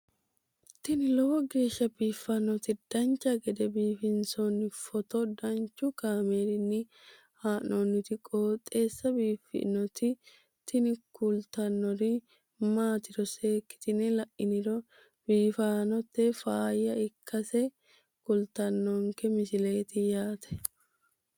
tini lowo geeshsha biiffannoti dancha gede biiffanno footo danchu kaameerinni haa'noonniti qooxeessa biiffannoti tini kultannori maatiro seekkine la'niro biiffannota faayya ikkase kultannoke misileeti yaate